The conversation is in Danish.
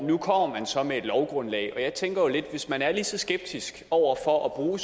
nu kommer man så med et lovgrundlag og jeg tænker jo lidt at hvis man er lige så skeptisk over for at bruge